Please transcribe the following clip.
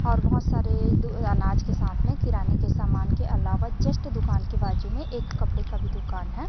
और बहुत सारे दू अह अनाज के साथ में किराने के सामान के अलावा जस्ट दुकान के बाजू में एक कपड़े का भी दुकान है।